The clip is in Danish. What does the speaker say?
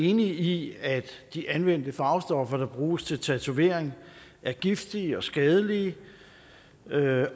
enige i at de anvendte farvestoffer der bruges til tatovering er giftige og skadelige